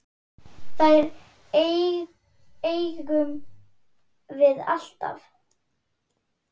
Þær eigum við alltaf.